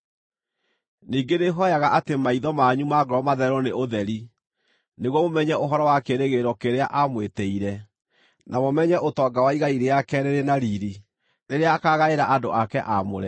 Ningĩ nĩhooyaga atĩ maitho manyu ma ngoro mathererwo nĩ ũtheri, nĩguo mũmenye ũhoro wa kĩĩrĩgĩrĩro kĩrĩa amwĩtĩire, na mũmenye ũtonga wa igai rĩake rĩrĩ na riiri, rĩrĩa akaagaĩra andũ ake aamũre,